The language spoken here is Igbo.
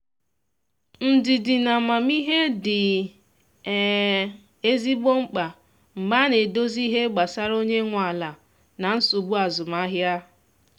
ndidi na amamihe dị um ezigbo mkpa mgbe a na edozi ihe gbasara onye nwe ala na nsogbu azụmahịa.